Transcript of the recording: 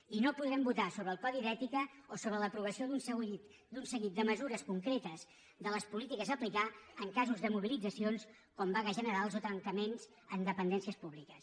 i no podrem votar sobre el codi d’ètica o sobre l’aprovació d’un seguit de mesures concretes de les polítiques a aplicar en casos de mobilitzacions com vagues generals o tancaments en dependències públiques